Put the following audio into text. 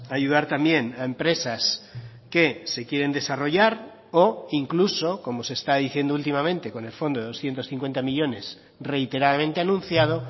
ayudar también a empresas que se quieren desarrollar o incluso como se está diciendo últimamente con el fondo de doscientos cincuenta millónes reiteradamente anunciado